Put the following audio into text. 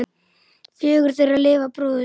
Fjögur þeirra lifa bróður sinn.